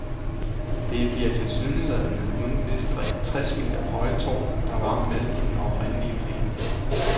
Det bliver tilsyneladende uden det tres meter høje tårn, der var med i den oprindelige plan.